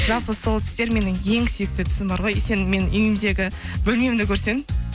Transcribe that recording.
жалпы сол түстер менің ең сүйікті түсім бар ғой сен менің үйімдегі бөлмемді көрсең